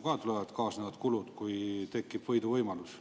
Sealt tulevad kaasnevad kulud, kui tekib võiduvõimalus.